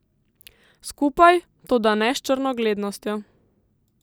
Skupaj, toda ne s črnogledostjo.